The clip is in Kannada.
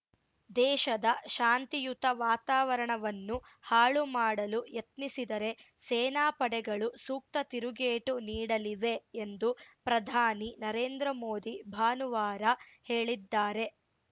ದೇಶದ ಶಾಂತಿಯುತ ವಾತಾವರಣವನ್ನು ಹಾಳು ಮಾಡಲು ಯತ್ನಿಸಿದರೆ ಸೇನಾ ಪಡೆಗಳು ಸೂಕ್ತ ತಿರುಗೇಟು ನೀಡಲಿವೆ ಎಂದು ಪ್ರಧಾನಿ ನರೇಂದ್ರ ಮೋದಿ ಭಾನುವಾರ ಹೇಳಿದ್ದಾರೆ